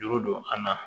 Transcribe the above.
Juru don an na